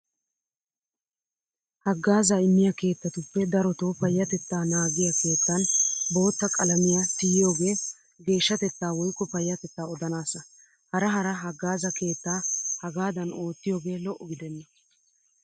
Haggaazaa immiya keettatuppe darotoo payyatettaa naagiya keettan bootta qalamiya tiyiyoogee geeshshatettaa woykko payyatettaa odanaassa. Hara hara haggaaza keettaa hegaadan oottiyoogee lo'o gidenna.